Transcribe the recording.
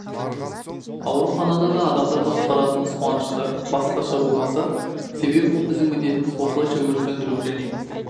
ауруханада да адамдарды құтқаратымыз қуанышты басқаша болмас себебі бұл біздің міндетіміз осылайша өрт сөндіру және